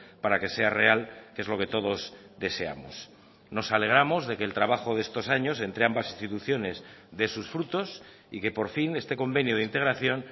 para que sea real que es lo que todos deseamos nos alegramos de que el trabajo de estos años entre ambas instituciones dé sus frutos y que por fin este convenio de integración